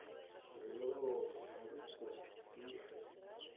алло царица тише